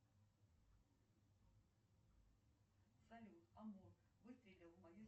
моему другу данилу станиславовичу на его карту сто семьдесят рублей